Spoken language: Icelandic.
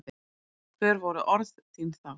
Hver voru orð þín þá?